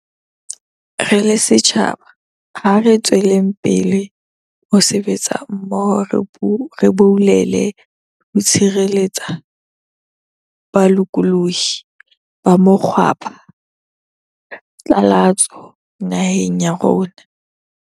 Re le setjhaba, ha re tsweleng pele ho sebetsa mmoho re boulele ho tshireletsa bolokolohi ba mokgwapha tlalatso naheng ya rona.